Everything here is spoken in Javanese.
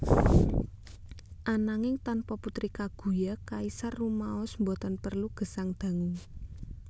Ananging tanpa Putri Kaguya kaisar rumaos boten prelu gesang dangu